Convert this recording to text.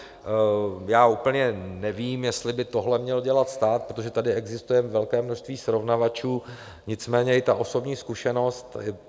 Já úplně nevím, jestli by tohle měl dělat stát, protože tady existuje velké množství srovnávačů, nicméně i ta osobní zkušenost.